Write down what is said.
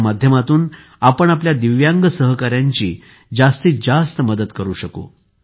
या माध्यमातून आपण आपल्या दिव्यांग सहकाऱ्यांची जास्तीत जास्त मदत करू शकू